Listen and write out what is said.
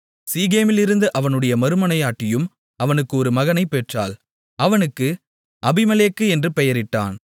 சீகேமிலிருந்த அவனுடைய மறுமனையாட்டியும் அவனுக்கு ஒரு மகனைப்பெற்றாள் அவனுக்கு அபிமெலேக்கு என்று பெயரிட்டான்